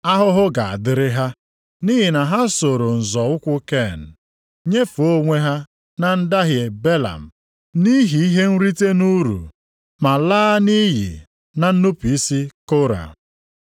Ahụhụ ga-adịrị ha, nʼihi na ha soro nzọ ụkwụ Ken, nyefee onwe ha na ndahie Belam nʼihi ihe nrite nʼuru, ma laa nʼiyi na nnupu isi Kora.